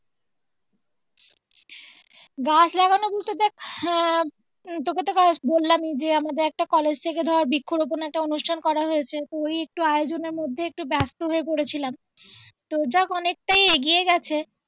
গাছ লাগানো বলতে দেখ আহ তোকে তো কাল বললামই যে আমাদের একটা কলেজে থেকে ধর বৃক্ষ রোপন একটা অনুষ্ঠান করা হয়েছে তো ওই একটু আয়োজনের মধ্যে একটু ব্যস্ত হয়ে পড়েছিলাম তো যাক অনেকটাই এগিয়ে গেছে